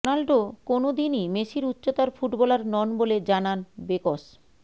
Ronaldo কোনও দিনই মেসির উচ্চতার ফুটবলার নন বলে জানান বেকস